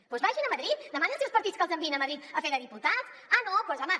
doncs vagin a madrid demanin als seus partits que els enviïn a madrid a fer de diputats ah no doncs home